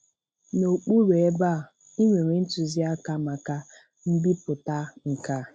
N'okpuru ebe a, ị nwere ntuziaka maka mbipụta nke a.